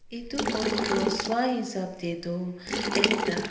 edu photo toh swahisap taetu ekta.